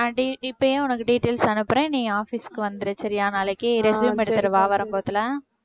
நான் இப்பயே உனக்கு details அனுப்புறேன் நீ office க்கு வந்துரு சரியா நாளைக்கு resume எடுத்துட்டுவா